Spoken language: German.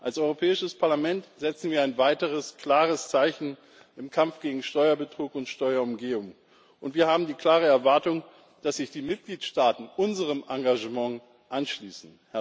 Als Europäisches Parlament setzen wir ein weiteres klares Zeichen im Kampf gegen Steuerbetrug und Steuerumgehung, und wir haben die klare Erwartung, dass sich die Mitgliedstaaten unserem Engagement anschließen.